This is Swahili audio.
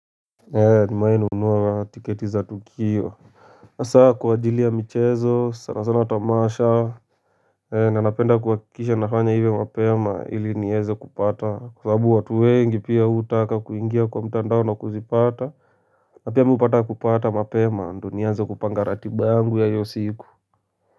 Eeh nimewai nunua tiketi za tukio hasa kwa ajili ya michezo sana sana tamasha ee na napenda kuhakikisha nafanya hivyo mapema ili nieze kupata kwa sababu watu wengi pia hutaka kuingia kwa mtandao na kuzipata na pia hupata kupata mapema ndio nianze kupanga ratiba yangu ya hio siku.